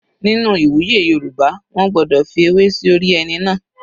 Nínú ìwúyè Yorùbá wọ́n gbọ́dọ̀ fi ewé sí orí ẹni náà.